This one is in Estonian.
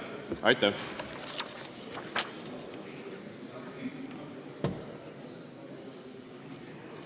Aitäh!